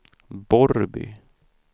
Borrby